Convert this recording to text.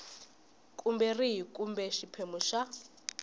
kumbe rihi kumbe xiphemu xa